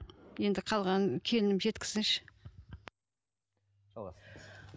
енді қалғанын келінім жеткізсінші жалғастырыңыз